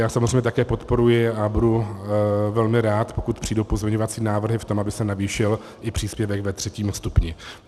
Já samozřejmě také podporuji a budu velmi rád, pokud přijdou pozměňovací návrhy v tom, aby se navýšil i příspěvek ve třetím stupni.